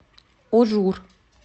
ужур